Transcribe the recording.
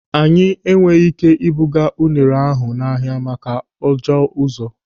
Anyị enweghị ị́ké ịbụga unere ahụ n'ahia maka ajọ ụzọ.